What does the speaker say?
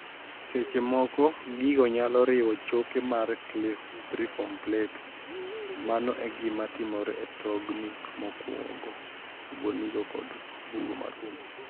Seche moko gigo niyalo riwo choke mar cibriform plate mano e gima timore e tonig' mokwako obwonigo kod bugo mar hum.